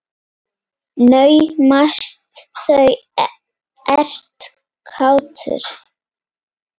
Naumast þú ert kátur.